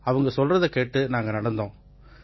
அவங்க சொல்றதை கேட்டு நாங்க நடந்தோம்